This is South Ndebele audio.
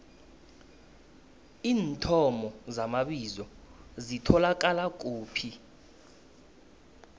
iinthomo zamabizo zitholakala kuphi